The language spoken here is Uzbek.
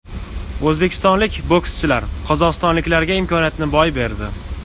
O‘zbekistonlik bokschilar qozog‘istonliklarga imkoniyatni boy berdi.